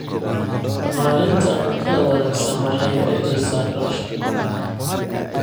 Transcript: Maareynta cuntada wanaagsan waxay yaraynaysaa kharashka.